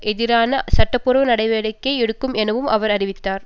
எதிராக சட்டபூர்வ நடவடிக்கை எடுக்கும் எனவும் அவர் அறிவித்தார்